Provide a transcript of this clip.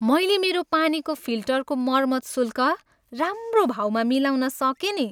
मैले मेरो पानीको फिल्टरको मर्मत शुल्क राम्रो भाउमा मिलाउन सकेँ नि।